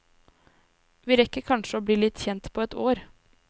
Vi rekker kanskje å bli litt kjent på et år.